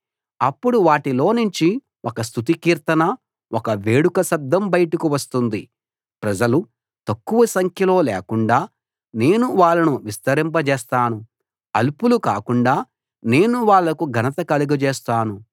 అప్పుడు వాటిలోనుంచి ఒక స్తుతి కీర్తన ఒక వేడుక శబ్దం బయటకు వస్తుంది ప్రజలు తక్కువ సంఖ్యలో లేకుండా నేను వాళ్ళను విస్తరింపజేస్తాను అల్పులు కాకుండా నేను వాళ్ళకు ఘనత కలుగజేస్తాను